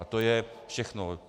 A to je všechno.